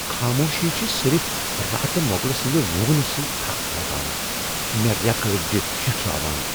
خاموشی چھُ صِرف راتہٕ مۄغلہٕ سندِ وُنگنہٕ سۭتۍ تھكھ لگان ، مے٘ ریكہٕ اڈِجہِ شِٹھراوان ۔